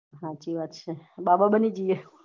હાચી વાત છે બાબા ની જયીયે